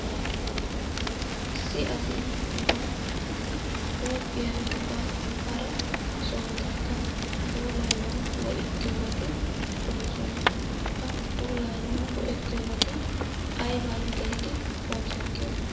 Issi asi ba huuphiya ba hara sohotakka puulayanaw go"ettiyoobati de'oosona. Ha puulayanaw go"ettiyoobati aybban gelidi oosetiyoona?